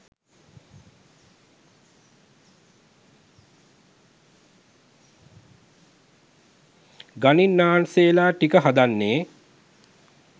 ගණින්නාන්සේලා ටික හදන්නේ